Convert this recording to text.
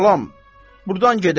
Balan, burdan gedək.